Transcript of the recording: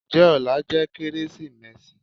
njẹ òlá jẹ Kérésímèsí?